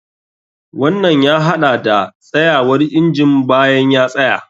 Wannan ya haɗa da tsayawar injin bayan ya tsaya.